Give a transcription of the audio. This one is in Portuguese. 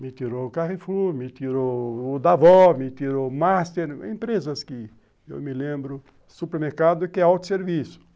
Me tirou o Carrefour, me tirou o Davó, me tirou o Master, empresas que eu me lembro, supermercado que é autosserviço.